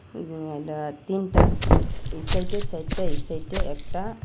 উম এইডা তিনটা এই সাইডে চাইরটা এই সাইডে একটা আ--